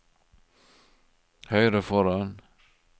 høyre foran